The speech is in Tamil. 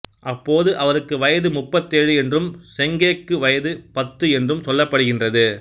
அப்போது அவருக்கு வயது முப்பத்தேழு என்றும் செங்கேக்கு வயது பத்து என்றும் சொல்லப்படுகின்றது